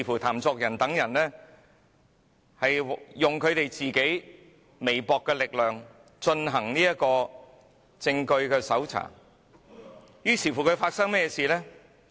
譚作人等利用自己微薄的力量，搜查證據，但發生甚麼事情呢？